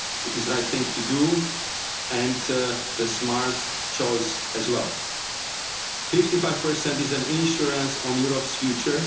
It is the right thing to do and the smartest choice as well. Fifty-five percent is an insurance on Europe's future.